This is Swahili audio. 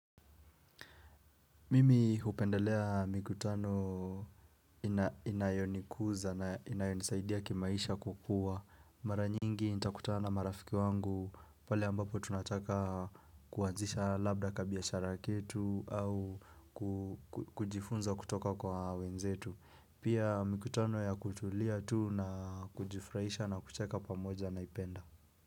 Mimi hupendelea mikutano inayonikuza na inayonisaidia kimaisha kukua. Mara nyingi nitakutana na marafiki wangu pale ambapo tunataka kuanzisha labda ka biashara ketu au kujifunza kutoka kwa wenzetu. Pia mikutano ya kutulia tu na kujifuraisha na kucheka pamoja naipenda.